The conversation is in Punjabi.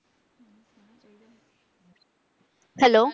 Hello